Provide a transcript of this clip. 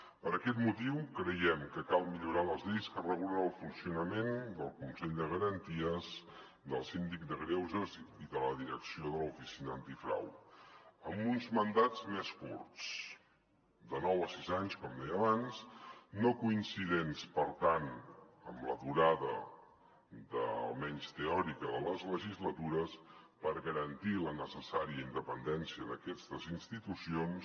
per aquest motiu creiem que cal millorar les lleis que regulen el funcionament del consell de garanties del síndic de greuges i de la direcció de l’oficina antifrau amb uns mandats més curts de nou a sis anys com deia abans no coincidents per tant amb la durada almenys teòrica de les legislatures per garantir la necessària independència d’aquestes institucions